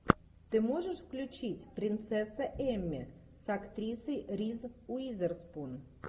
ты можешь включить принцесса эмми с актрисой риз уизерспун